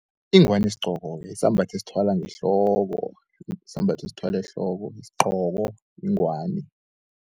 Ingwani sigqoko-ke sisambatho osithwale ehloko yisigcoko, yingwani.